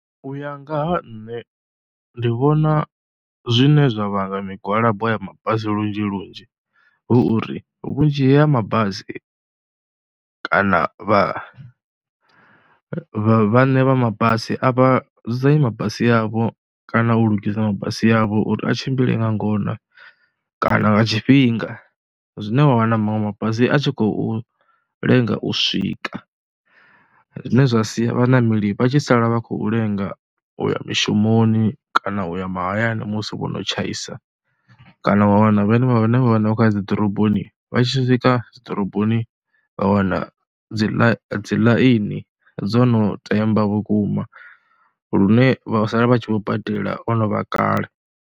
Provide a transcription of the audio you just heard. U ya nga ha nṋe ndi vhona zwine zwa vhanga migwalabo ya mabasi lunzhi lunzhi h uri vhunzhi ha mabasi kana vha vhaṋe vha mabasi a vha dzudzanyi mabasi avho kana u lugisa mabasi avho uri a tshimbile nga ngona kana nga tshifhinga. Zwine wa vha na maṅwe mabasi a tshi khou lenga u swika, zwine zwa sia vhaṋameli vha tshi sala vha khou lenga u ya mushumoni kana u ya mahayani musi vho no tshaisa. Kana wa wana vhane vha vha na vhane vha khou u ya dzi ḓoroboni vha tshi swika dzi ḓoroboni vha wana dzi ḽa dzi ḽaini dzo no temba vhukuma lune vha sala vha tshi vho badela ho no vha kale.